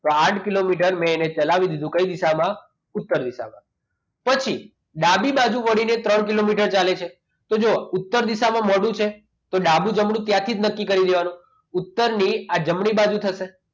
તો આઠ કિલોમીટર મેને ચલાવી દીધો કઈ દિશામાં ઉત્તર દિશામાં પછી ડાબી બાજુ વળીને ત્રણ કિલોમીટર ચાલે છે તો જુઓ ઉત્તર દિશામાં મોઢું છે તો ડાબું જમણું ક્યાંથી નક્કી કરી દેવાનું ત્યારથી નક્કી કરી દેવાનું ઉત્તરની આ જમણી બાજુ થશે